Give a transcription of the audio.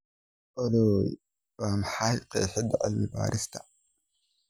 olly waa maxay qeexida cilmi-baarista